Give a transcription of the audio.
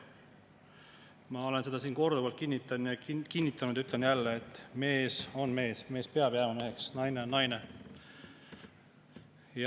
Ma olen seda siin korduvalt kinnitanud ja ütlen jälle, et mees on mees, mees peab jääma meheks, ja naine on naine.